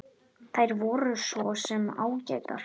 Þær voru svo sem ágætar.